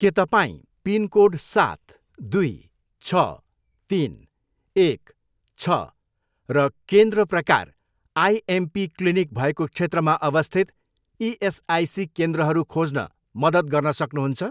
के तपाईँँ पिनकोड सात, दुई, छ, तिन, एक, छ र केन्द्र प्रकार आइएमपी क्लिनिक भएको क्षेत्रमा अवस्थित इएसआइसी केन्द्रहरू खोज्न मद्दत गर्न सक्नुहुन्छ?